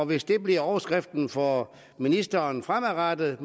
hvis det bliver overskriften for ministeren fremadrettet